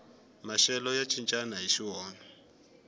maxelo ya cincana hixi wona